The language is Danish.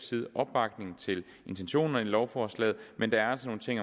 side opbakning til intentionerne i lovforslaget men der er altså nogle ting